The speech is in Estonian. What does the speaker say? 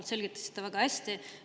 Te selgitasite seda väga hästi.